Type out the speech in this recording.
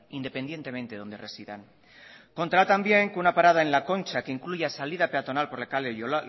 independientemente de dónde residan contará tambien que una parada en la concha que incluya salida peatonal por